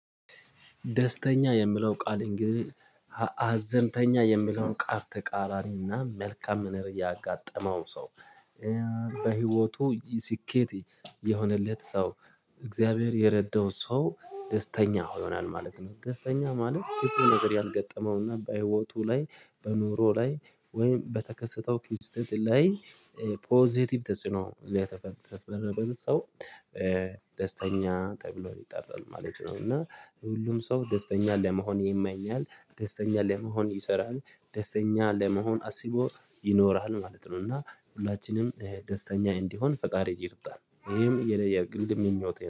ደስተኛ የምለው ቃል እንግዲህ አዘንተኛ የምለው ቃል ተቃራኒና መልካም ምነር ያጋጠመው ሰው በህይወቱ ስኬት የሆነለት ሰው እግዚአብሔር የረዳው ሰው ደስተኛ ይሆናል ማለት ነው። ደስተኛ ማለት ክፋ ነገር ያልገጠመውና በህይወቱ ላይ በኑሮ ላይ ወይም በተከሰተው ኪው ስቴት ላይ ፖዘቲቭ ተጽዕኖ የተፈረበረ ሰው ደስተኛ ተብሎ ይጠራል ማለት ነው። እና ሁሉም ሰው ደስተኛ ለመሆን ይመኛል ደስተኛ ለመሆን ይሰራል ደስተኛ ለመሆን አስቦ ይኖራል ማለት ነው። እና ሁላችንም ደስተኛ እንዲሆን ፈጣሪ ይርዳን ይሄም የንየ የግል ምኞትየ